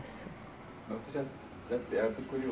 eu fiquei